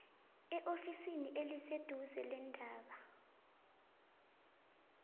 eofisini eliseduze leendaba